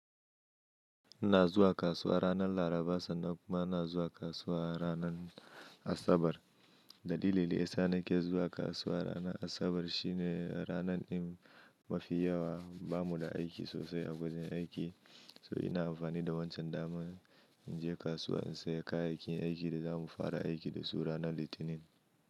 Ina zuwa kasuwa ranar Laraba, sannan kuma ina zuwa kasuwa ranar Asabar. Dalilin de ya sa nake zuwa kasuwa ranar Asabar shine, ranar ɗin mafi yawa, bamu da aiki sosai a wajin aiki, So ina amfani da wancan daman, in je kasuwa in saya kayayyakin aikin da zamu fara aiki da su ranar Litinin.